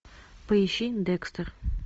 поищи декстер